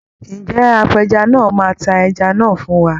Ǹjẹ́ apẹja náà máa ta ẹja náà fún wa?